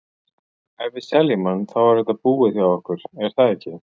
Ef við seljum hann, þá er þetta búið hjá okkur er það ekki?